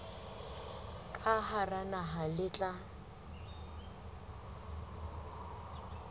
ka hara naha le tla